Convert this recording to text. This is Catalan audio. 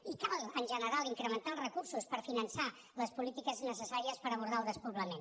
i cal en general incrementar els recursos per finançar les polítiques necessàries per abordar el despoblament